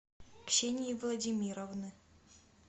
ксении владимировны